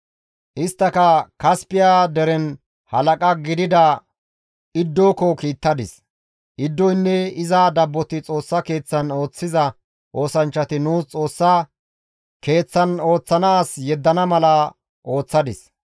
Isttaka Kaspiya deren halaqa gidida Iddoko kiittadis; Iddoynne iza dabboti Xoossa Keeththan ooththiza oosanchchati nuus Xoossa Keeththan ooththana as yeddana mala ooththadis.